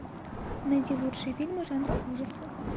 найди лучшие фильмы жанра ужасы